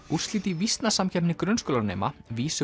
úrslit í grunnskólanema